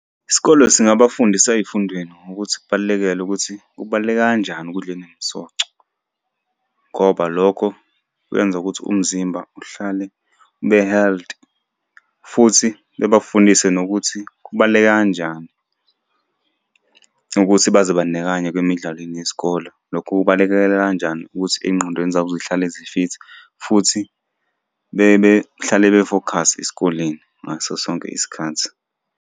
Isikole singabafundisa ey'fundweni ngokuthi kubalekelele ukuthi kubaluleke kanjani ukudla enemisoco ngoba lokho kwenza ukuthi umzimba uhlale ube healthy, futhi bebafundise nokuthi kubaluleke kanjani ukuthi bazibandakanye kwimidlalweni yesikole. Lokhu kubalekelela kanjani ukuthi ey'ngqondweni zabo zihlale zifithi, futhi bebehlale befokhasi esikoleni ngaso sonke isikhathi.